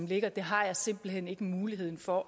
ligger har jeg simpelt hen overhovedet ikke mulighed for